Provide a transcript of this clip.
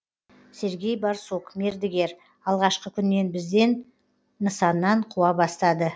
сергей борсук мердігер алғашқы күннен бізді нысаннан қуа бастады